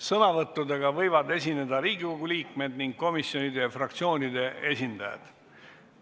Sõnavõttudega võivad esineda Riigikogu liikmed ning komisjonide ja fraktsioonide esindajad.